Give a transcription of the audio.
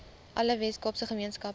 alle weskaapse gemeenskappe